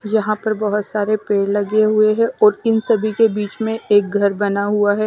यहां पर बहुत सारे पेड़ लगे हुए है और इन सभी के बीच में एक घर बना हुआ है।